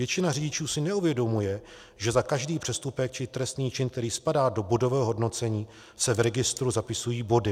Většina řidičů si neuvědomuje, že za každý přestupek či trestný čin, který spadá do bodového hodnocení, se v registru zapisují body.